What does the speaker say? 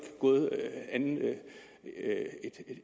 gået mere end